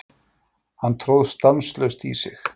Hann tróð stanslaust í sig.